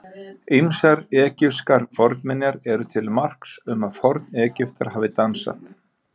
Ýmsar egypskar fornminjar eru til marks um að Forn-Egyptar hafi dansað.